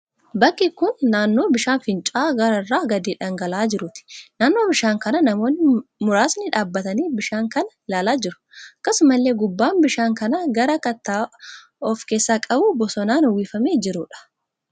Bakki kun naannoo bishaan fincaa'aa gaara irraa gadi dhangala'aa jiruuti. Naannoo bishaan kanaa namoonni muraasni dhaabbatanii bishaan kana ilaalaa jiru. Akkasumallee gubbaan bishaan kanaa gaara kattaa of keessaa qabu bosonaan uwwifamee jiruudha.